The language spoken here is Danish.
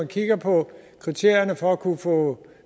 kigger på kriterierne for at kunne få